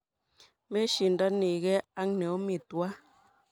Meshindanigee ak neomi tuwai.